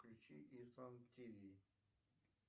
включи исан тв